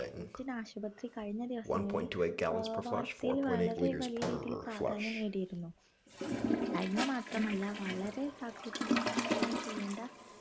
കൂറ്റൻ ആശുപത്രി കഴിഞ്ഞ ദിവസങ്ങളിൽ ഏർ വാർത്തയിൽ വളരെ വലിയരീതിയിൽ പ്രാധാന്യം നേടിയിരുന്നു ചൈന മാത്രമല്ല വളരെ ജാക്രതയോടെ കൈകാര്യം ചെയ്യേണ്ട